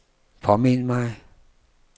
påmind mig